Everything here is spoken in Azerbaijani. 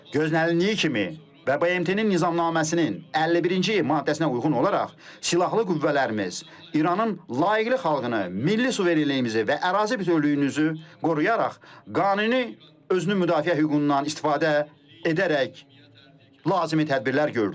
Gözlənildiyi kimi və BMT-nin nizamnaməsinin 51-ci maddəsinə uyğun olaraq Silahlı Qüvvələrimiz İranın layiqli xalqını, milli suverenliyimizi və ərazi bütövlüyünüzü qoruyaraq qanuni özünü müdafiə hüququndan istifadə edərək lazımi tədbirlər gördü.